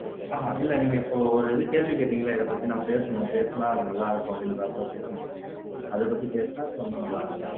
அஹ்ஹ இல்லை நீங்க இப்போ ஒரு இது கேள்வி கேட்டீங்கல்ல இதைப் பத்தி நான் பேசணும் பேசினால் அது நல்லா இருக்கும் அப்படின்றாப்புல பேசணும்ன்னு சொன்னீங்க அதைப் பத்தி பேசுனா கொஞ்சம் நல்லா இருக்கும்